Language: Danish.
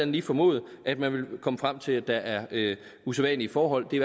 lige formode at man vil komme frem til at der er usædvanlige forhold det